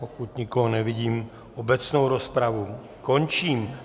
Pokud nikoho nevidím, obecnou rozpravu končím.